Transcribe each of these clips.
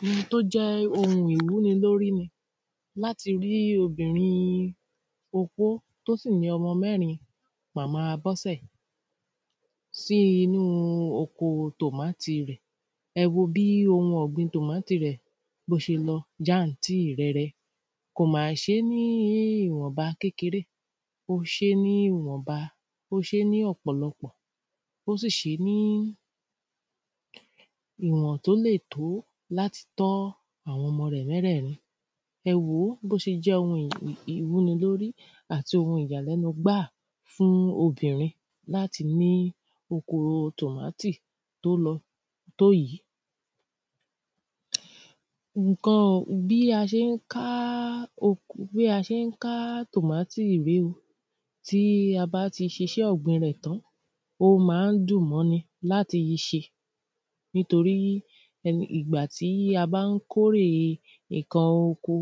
Ohun tó jẹ́ ohun ìwúni lórí ni láti rí obìnrin opó tó sì ní ọmọ mẹ́rin màmá bọ́sẹ̀. sí inú oko tòmátì rẹ̀ ẹwo bí ohun ọ̀gbìn tòmátì rẹ̀ bó ṣe lọ jántì rẹrẹ kò má ṣé ní ìwọ̀nba kékeré ó ṣé ní ìwọ̀nba ó ṣé ní ọ̀pọ̀lọpọ̀ ó sì ṣé ní ìwọ̀n tó le tó láti tọ́ àwọn ọmọ rẹ̀ mẹ́rẹ̀rin. Ẹ wòó bó ṣe jẹ́ ohun ìwúni lórí àtohun ìyàlẹ́nu gbá fún obìnrin láti ní oko tòmátì tó lọ tó yìí. Nǹkan bí a ṣe ń ká bí a ṣe ń ká tòmátì rè ó. Bí a bá ti ṣiṣẹ́ ọ̀gbìn rẹ̀ tán ó má ń dùn mọ́ ni láti rí ṣe nítorí ìgbà tí a bá ń kórè nǹkan oko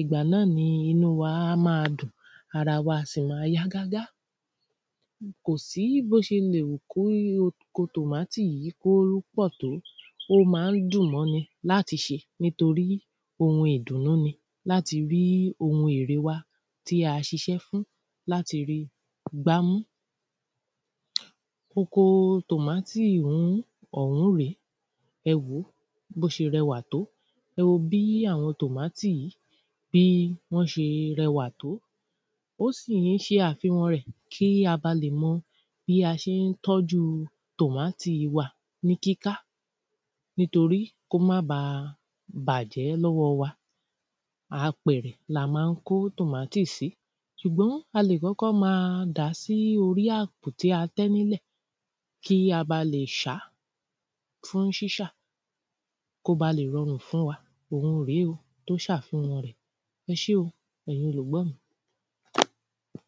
ìgbà náà ni inú wa a má dùn ara wa a sì má yá gágá. Kò sí bó ṣe lè wù kí oko tòmátì yìí kí ó pọ̀ tó ó má ń dùn mọ́ ni láti ṣe nítorí ohun ìdùnú ni láti rí ohun èrè wa tí a ṣiṣẹ́ fún láti rí gbámú. Oko tòmátì ní ọ̀hún yìí ewó bó ṣe rẹwà tó ẹwo bí àwọn tòmátì yìí bí wọ́n ṣe rẹwà tó ó sì ń ṣe àfihàn rẹ̀ kí a bá lè mọ bí a ṣe ń tọ́jú tòmátì wa ní kíká nítorí ló má ba bàjẹ́ lọ́wọ́ wa. Apẹ̀rẹ̀ la má ń kó tòmátì sí ṣùgbọ́n a lè kọ́kọ́ má dàá sí orí àpò tí a gbé sílẹ̀ kí a bá le ṣàá fún ṣíṣà kó bá le rọrùn fún wa òhun rè ó tó ń ṣàfihàn rẹ̀ ẹṣé o ẹ̀yin olùgbọ́ mi.